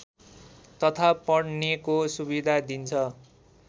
तथा पढ्नेको सुविधा दिन्छ